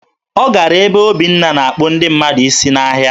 Ọ gara ebe Obinna na-akpụ ndị mmadụ isi n'ahịa